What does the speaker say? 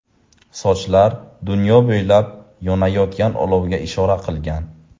Sochlar dunyo bo‘ylab yonayotgan olovga ishora qilgan.